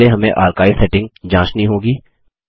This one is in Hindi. पहले हमें आर्काइव सेटिंग जाँचनी होगी